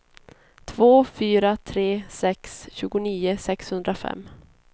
två fyra tre sex tjugonio sexhundrafem